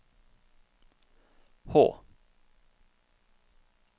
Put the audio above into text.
H